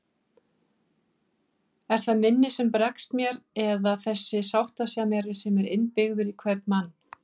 Er það minnið sem bregst mér eða þessi sáttasemjari sem er innbyggður í hvern mann?